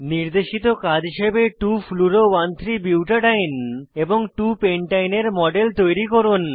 নির্দেশিত কাজ হিসাবে 2 fluoro 13 বুটাডিন এবং 2 পেনটাইন এর মডেল তৈরি করুন